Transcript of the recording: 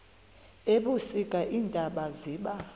ebusika iintaba ziba